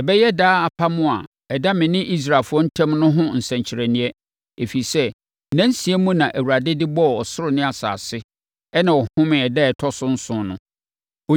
Ɛbɛyɛ daa apam a ɛda me ne Israelfoɔ ntam no ho nsɛnkyerɛnneɛ. Ɛfiri sɛ, nna nsia mu na Awurade de bɔɔ ɔsoro ne asase, ɛnna ɔhomee ɛda a ɛtɔ so nson no.’ ”